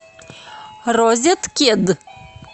розеткед